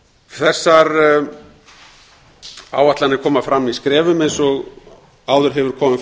þessar áætlanir koma fram í skrefum eins og áður hefur komið